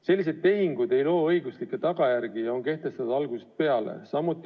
Sellised tehingud ei loo õiguslikke tagajärgi ja on kehtetud juba algusest peale.